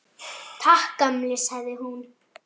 Takk, gamli, sagði hún.